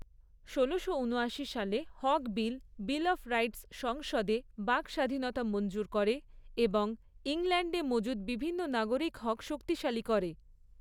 ষোলোশো ঊনয়াশি সালে হক বিল বিল অফ রাইটস সংসদে বাকস্বাধীনতা মঞ্জুর করে এবং ইংল্যান্ডে মজুদ বিভিন্ন নাগরিক হক শক্তিশালী করে।